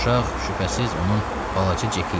Uşaq, şübhəsiz, onun balaca Ceki idi.